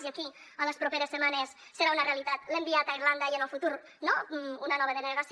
i aquí en les properes setmanes serà una realitat l’enviat a irlanda i en el futur no una nova delegació